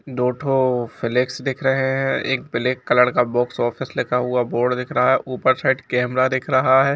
दो ठो फ्लैक्स दिख रहें हैं एक ब्लैक कलर का बॉक्स ऑफिस लिखा हुआ बोर्ड दिख रहा है ऊपर साइड कैमरा दिख रहा है।